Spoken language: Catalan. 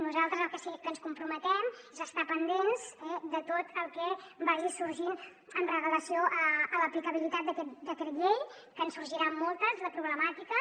nosaltres al que sí que ens comprometem és a estar pendents eh de tot el que vagi sorgint amb relació a l’aplicabilitat d’aquest decret llei que en sorgiran moltes de problemàtiques